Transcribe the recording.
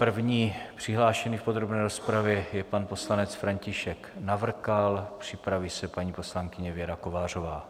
První přihlášený v podrobné rozpravě je pan poslanec František Navrkal, připraví se paní poslankyně Věra Kovářová.